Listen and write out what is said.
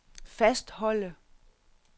fastholde